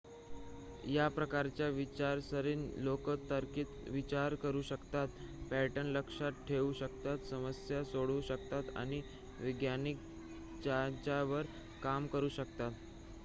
या प्रकारच्या विचारसरणीचे लोक तार्किक विचार करू शकतात पॅटर्न लक्षात ठेवू शकतात समस्या सोडवू शकतात आणि वैज्ञानिक चाचण्यांवर काम करू शकतात